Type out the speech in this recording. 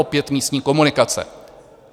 Opět místní komunikace.